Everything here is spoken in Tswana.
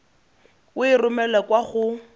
o e romele kwa go